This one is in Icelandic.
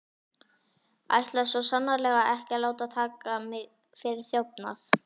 Ætlaði svo sannarlega ekki að láta taka mig fyrir þjófnað.